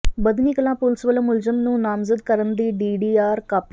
Badhni Kalan police ਵੱਲੋਂ ਮੁਲਜ਼ਮ ਨੂੰ ਨਾਮਜ਼ਦ ਕਰਨ ਦੀ ਡੀਡੀਆਰ ਕਾਪੀ